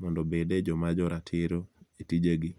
mondo obede joma jo ratiro e tijegi.